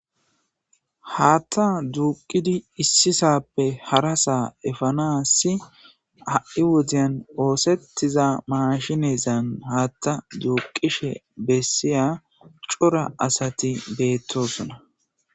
Haatta duuqidi issisappe harasaa efana si a'i wodiyan oosettiza maashinezan haatta duuqishe bessiya cora asati beettosona.